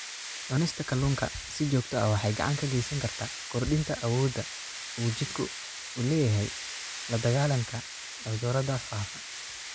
Cunista kalluunka si joogto ah waxay gacan ka geysataa kordhinta awoodda uu jidhku u leeyahay la-dagaallanka cudurrada faafa.